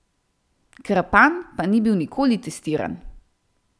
Krpan pa ni bil nikoli testiran.